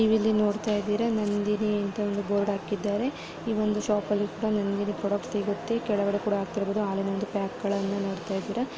ನೀವಿಲ್ಲಿ ನೋಡತಾಯಿದ್ದೀರ ನಂದಿನಿ ಅಂತ ಒಂದು ಬೋರ್ಡ್ ಹಾಕಿದ್ದಾರೆ ಈ ಒಂದು ಶಾಪ್ ಅಲ್ಲಿ ಕೂಡ ನಂದಿನಿ ಪ್ರಾಡಕ್ಟ್ಸ್ ಸಿಗತ್ತೆ ಕೆಳಗಡೆ ಕೂಡ ಹಾಕ್ತಿರ್ಬೋದು ಹಾಲಿನ ಒಂದು ಪ್ಯಾಕ್ ಗಳನ್ನ ನೋಡ್ತಾಇದ್ದಿರಾ --